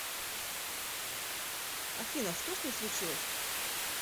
афина что с ней случилось